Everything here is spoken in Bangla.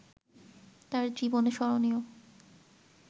তাঁর জীবনে স্মরণীয়